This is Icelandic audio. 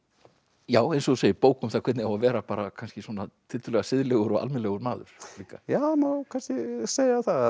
já eins og þú segir bók um hvernig á að vera bara tiltölulega siðlegur og almennilegur maður líka já það má kannski segja það